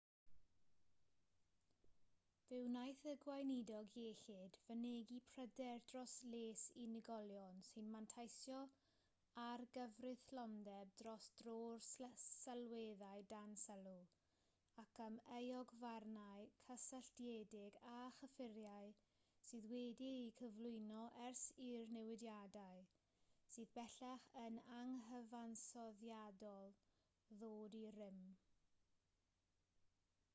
fe wnaeth y gweinidog iechyd fynegi pryder dros les unigolion sy'n manteisio ar gyfreithlondeb dros dro'r sylweddau dan sylw ac am euogfarnau cysylltiedig â chyffuriau sydd wedi'u cyflwyno ers i'r newidiadau sydd bellach yn anghyfansoddiadol ddod i rym